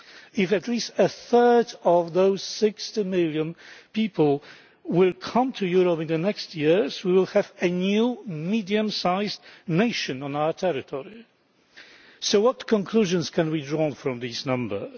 If at least a third of those 60 million people come to Europe in the coming years, we will have a new medium sized nation on our territory. So what conclusions can be drawn from these numbers?